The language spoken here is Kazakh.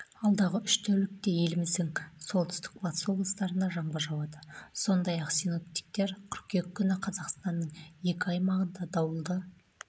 алдағы үш тәулікте еліміздің солтүстік-батыс облыстарында жаңбыр жауады сондай-ақ синоптиктер кыркүйек күні қазақстанның екі аймағында дауылды